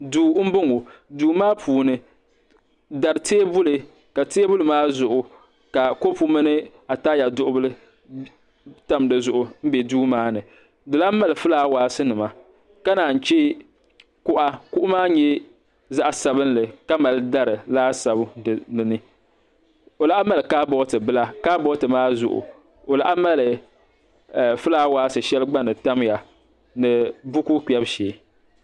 duu n bɔŋɔ duu maa puuni dari teebuli ka teebuli maa zuɣu ka kɔpu mini ataaya duɣu bili tam duu maa ni di lahi mali fulaawaasi nima ka naan yi chɛ kuɣa kuɣu maa nyɛ zaɣ sabinli ka mali dari laasabu dinni o lahi mali kaabooti bila kaabooti maa zuɣu o lahi mali fulaawaasi shɛli gba ni tamya ni buku kpɛbu shee